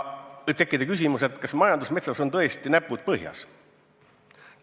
Võib tekkida küsimus, kas majandusmetsas on tõesti näpud põhjas.